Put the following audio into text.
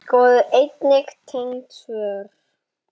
Skoðið einnig tengd svör